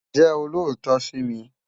Jè ólótò si mi